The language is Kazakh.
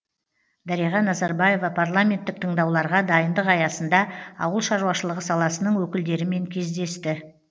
дариға назарбаева парламенттік тыңдауларға дайындық аясында ауылшаруашылығы саласының өкілдерімен кездесті